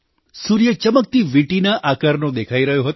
સૂર્ય ચમકતી વીંટીના આકારનો દેખાઈ રહ્યો હતો